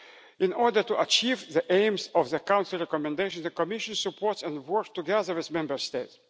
In order to achieve the aims of the Council Recommendation, the Commission supports and works together with Member